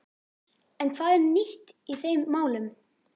En hvað er nýtt í þeim málum?